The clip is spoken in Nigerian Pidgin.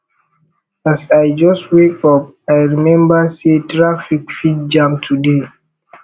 as i just wake up i remember sey traffic fit jam today